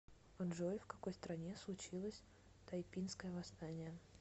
джой в какой стране случилось тайпинское восстание